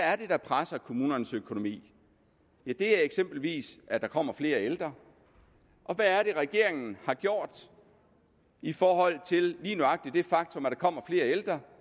er det der presser kommunernes økonomi ja det er eksempelvis at der kommer flere ældre og hvad er det regeringen har gjort i forhold til lige nøjagtig det faktum at der kommer flere ældre